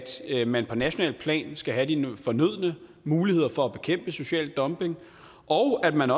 man på nationalt plan skal have de fornødne muligheder for at bekæmpe social dumping og at man